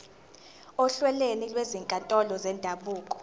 ohlelweni lwezinkantolo zendabuko